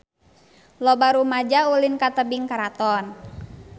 Loba rumaja ulin ka Tebing Keraton